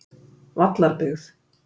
Vallarbyggð